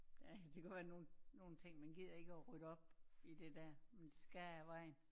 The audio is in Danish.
Ja det kan godt være nogen ting man gider ikke at rydde op i det der men det skal jo af vejen